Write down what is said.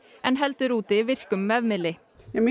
en heldur úti virkum vefmiðli